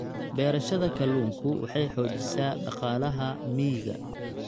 Beerashada kalluunku waxay xoojisaa dhaqaalaha miyiga.